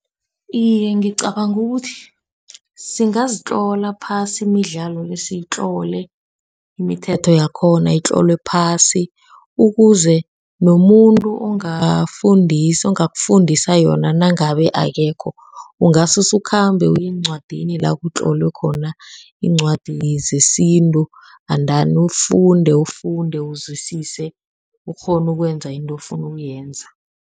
Iye, ngicabanga ukuthi singazitlola phasi imidlalo le. Sitlole imithetho yakhona itlolwe phasi, ukuze nomuntu ongafundisa, ongakufundisa yona nangabe akekho ungasusukhambe uye eencwadini la kutlolwe khona iincwadi zesintu, andani ufunde, ufunde uzwisise ukghone ukwenza into ofuna ukuyenza.